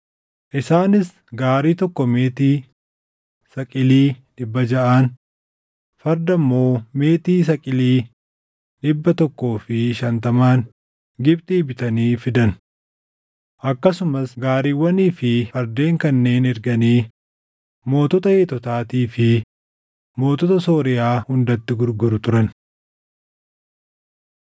Isaanis gaarii tokko meetii saqilii dhibba jaʼaan, farda immoo meetii saqilii dhibba tokkoo fi shantamaan Gibxii bitanii fidan. Akkasumas gaariiwwanii fi fardeen kanneen erganii mootota Heetotaatii fi mootota Sooriyaa hundatti gurguru turan.